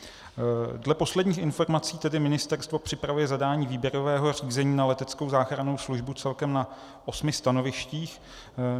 Dle posledních informací tedy ministerstvo připravuje zadání výběrového řízení na leteckou záchrannou službu celkem na osmi stanovištích.